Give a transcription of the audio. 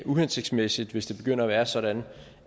uhensigtsmæssigt hvis det begynder at være sådan